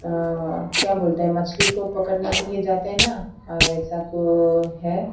आ अ अ क्या बोलते हैं मछली को पकड़ने के लिए जाते हैं ना वैसा को है ।